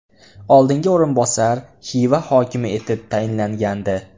Oldingi o‘rinbosar Xiva hokimi etib tayinlangandi.